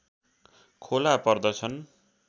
खोला पर्दछन्